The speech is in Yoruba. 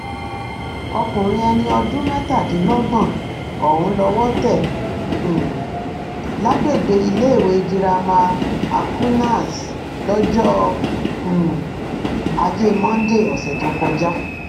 ọkùnrin ẹni ọdún mẹtàdínlọgbọn ọhún lowó tẹ um lágbègbè iléèwé girama aquinas lọjọ um ajé monde ọsẹ tó kọjá